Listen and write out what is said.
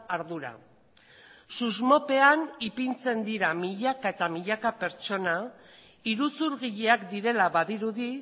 ardura susmopean ipintzen dira milaka eta milaka pertsona iruzurgileak direla badirudi